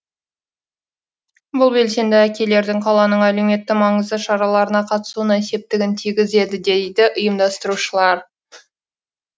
бұл белсенді әкелердің қаланың әлеуметтік маңызды шараларына қатысуына септігін тигізеді дейді ұйымдастырушылар